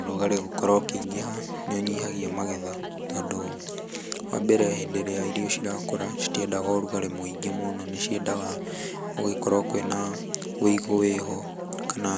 Ũrugarĩ gũkorwo ũkĩingĩha nĩ ũnyihagia magetha tondũ wa mbere hĩndĩ ĩrĩa irio cirakũra citiendaga ũrugarĩ mwĩngĩ mũno nĩ ciendaga gũgĩkorwo kwĩna wĩigũ wĩho kana